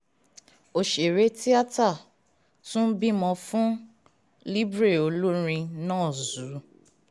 òṣèré tíáta tún bímọ fún libre olórin nah zuu